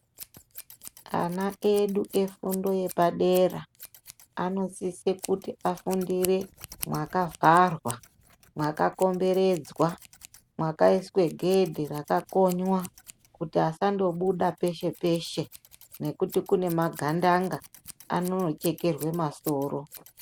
Ana edu efundo yepadera anosise kuti afundire mwakavharwa, mwakakomberedzwa, mwakaiswe gedhe rakakonywa kuti vasandobuda peshe peshe ngekuti kune magandanga vanondochekerwe masoro.